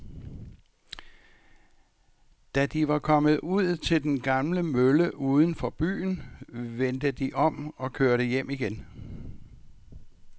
Da de var kommet ud til den gamle mølle uden for byen, vendte de om og kørte hjem igen.